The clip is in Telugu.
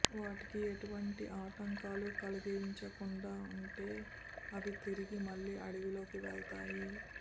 వాటికి ఎటువంటి ఆటంకాలు కలిగించకుంటే అవి తిరిగి మళ్లీ అడవిలోకి వెళ్తాయి